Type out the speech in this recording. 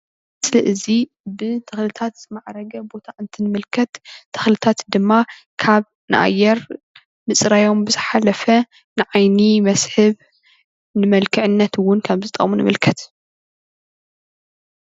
እዚ ብተኽልታት ዝማዕበለ ቦታ እንትንምልከት ተኽልታትድማ ካብ ንኣየር ምፅራዮም ብዝሓለፈ ንዓይኒ መስሕብ ንመልክዕነት እውን ከም ዝጠቅሙ ንምልከት።